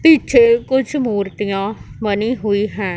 पीछे कुछ मूर्तियां बनी हुई हैं।